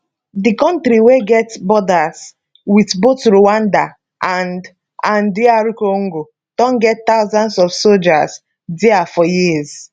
di kontri wey get borders wit both rwanda and and dr congo don get thousands of soldiers dia for years